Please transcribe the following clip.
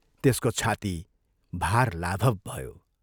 त्यसको छाती भार लाभव भयो।